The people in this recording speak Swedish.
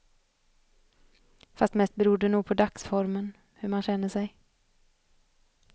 Fast mest beror det nog på dagsformen, hur man känner sig.